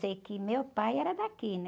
Sei que meu pai era daqui, né?